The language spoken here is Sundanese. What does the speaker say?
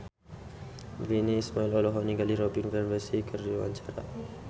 Virnie Ismail olohok ningali Robin Van Persie keur diwawancara